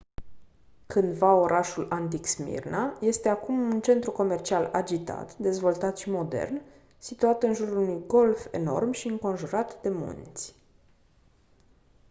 cândva orașul antic smirna este acum un centru comercial agitat dezvoltat și modern situat în jurul unui golf enorm și înconjurat de munți